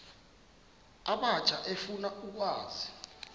abatsha efuna ukwazi